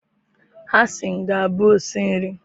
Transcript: Hasan ga-abụ osi nri